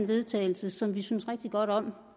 vedtagelse som vi synes rigtig godt om